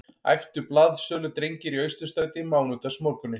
æptu blaðsöludrengir í Austurstræti mánudagsmorguninn